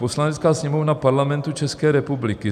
"Poslanecká sněmovna Parlamentu České republiky